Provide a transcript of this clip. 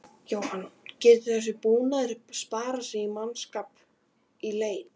Jóhann: Getur þessi búnaður sparað mannskap í leit?